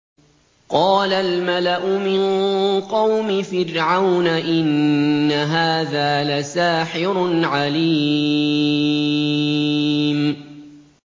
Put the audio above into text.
قَالَ الْمَلَأُ مِن قَوْمِ فِرْعَوْنَ إِنَّ هَٰذَا لَسَاحِرٌ عَلِيمٌ